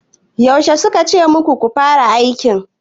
Yaushe suka ce muku ku fara aiki?